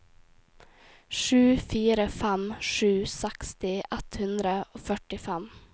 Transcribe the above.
sju fire fem sju seksti ett hundre og førtifem